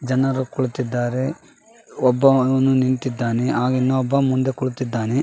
ಜನರು ಕುಳಿತ್ತಿದ್ದಾರೆ. ಒಬ್ಬ ನಿಂತಿದ್ದಾನೆ ಆಗ ಇನೊಬ್ಬ ಮುಂದೆ ಕುಳಿತ್ತಿದ್ದಾನೆ.